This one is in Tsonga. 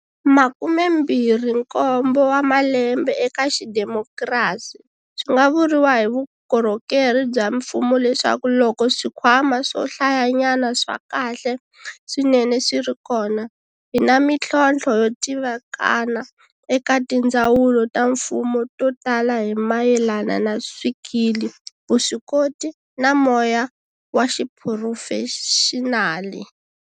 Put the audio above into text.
Makumembirhinkombo wa malembe eka xidemokirasi, swi nga vuriwa hi vukorhokeri bya mfumo leswaku loko swikhwama swo hlayanyana swa kahle swinene swi ri kona, hi na mitlhontlho yo tivikana eka tindzawulo ta mfumo to tala hi mayelana na swikili, vuswikoti, na moya wa xi phurofexinali.